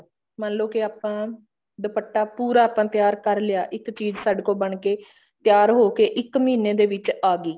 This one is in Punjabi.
ਮੰਨਲੋ ਕੇ ਆਪਾਂ ਦੁਪੱਟਾ ਪੁਰ ਆਪਾਂ ਤਿਆਰ ਕਰ ਲਿਆ ਇੱਕ ਚੀਜ਼ ਸਾਡੇ ਕੋਲ ਬਣ ਕੇ ਤਿਆਰ ਹੋਕੇ ਇੱਕ ਮਹੀਨੇ ਦੇ ਵਿੱਚ ਆਗੀ